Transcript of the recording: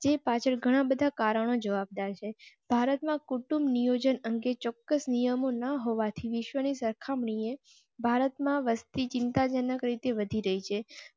પાછળ ઘણા બધા કારણો જવાબદાર છે. ભારત માં કુટુંબ નિયોજન કે ચોક્કસ નિયમો ન હોવા થી વિશ્વની સરખામણીએ ભારત માં વસ્તી ચિંતાજનક રીતે વધી રહી છે.